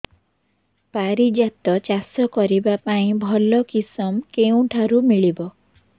ପାରିଜାତ ଚାଷ କରିବା ପାଇଁ ଭଲ କିଶମ କେଉଁଠାରୁ ମିଳିବ